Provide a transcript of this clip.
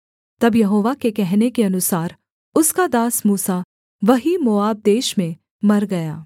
तब यहोवा के कहने के अनुसार उसका दास मूसा वहीं मोआब देश में मर गया